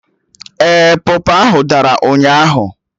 Ee, pọpọ ahụ dara ụnyaahụ